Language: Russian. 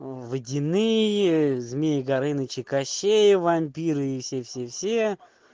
водяные змеи горыныч и кащей и вампир и все-все-все